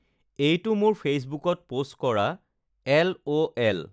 এইটো মোৰ ফেইচবুকত পোষ্ট কৰা এল.ও.এল